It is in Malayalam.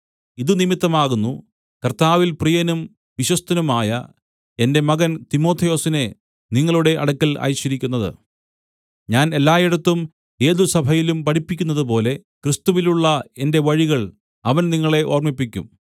ഇതുനിമിത്തമാകുന്നു കർത്താവിൽ പ്രിയനും വിശ്വസ്തനുമായ എന്റെ മകൻ തിമൊഥെയോസിനെ നിങ്ങളുടെ അടുക്കൽ അയച്ചിരിക്കുന്നത് ഞാൻ എല്ലായിടത്തും ഏതു സഭയിലും പഠിപ്പിക്കുന്നതുപോലെ ക്രിസ്തുവിലുള്ള എന്റെ വഴികൾ അവൻ നിങ്ങളെ ഓർമ്മിപ്പിക്കും